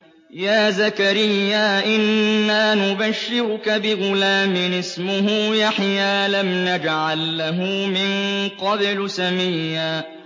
يَا زَكَرِيَّا إِنَّا نُبَشِّرُكَ بِغُلَامٍ اسْمُهُ يَحْيَىٰ لَمْ نَجْعَل لَّهُ مِن قَبْلُ سَمِيًّا